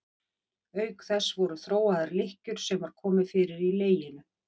Auk þess voru þróaðar lykkjur sem var komið fyrir í leginu.